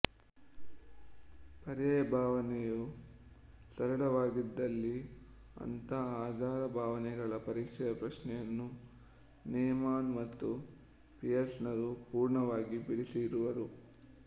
ಪರ್ಯಾಯ ಭಾವನೆಯೂ ಸರಳವಾಗಿದ್ದಲ್ಲಿ ಅಂಥ ಆಧಾರಭಾವನೆಗಳ ಪರೀಕ್ಷೆಯ ಪ್ರಶ್ನೆಯನ್ನು ನೇಮಾನ್ ಮತ್ತು ಪಿಯರ್ಸನರು ಪೂರ್ಣವಾಗಿ ಬಿಡಿಸಿರುವರು